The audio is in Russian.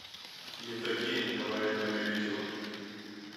евдокия николаевна лебедева